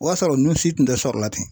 O y'a sɔrɔ nunnu si tun tɛ sɔrɔ la ten.